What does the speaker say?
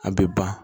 A bɛ ban